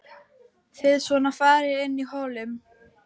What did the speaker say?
Þið svona farið inn í hollum?